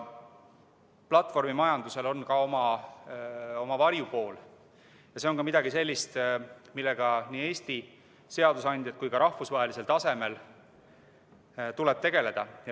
Platvormimajandusel on ka oma varjupool ja see on midagi sellist, millega nii Eesti seadusandjal kui ka rahvusvahelisel tasemel tuleb tegeleda.